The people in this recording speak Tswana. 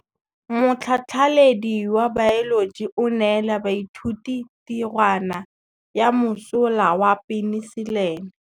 Motlhatlhaledi wa baeloji o neela baithuti tirwana ya mosola wa peniselene.